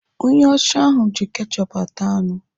Onye ọcha ahụ ji kechup ata anụ.